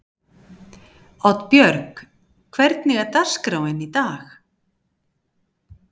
Oddbjörg, hvernig er dagskráin í dag?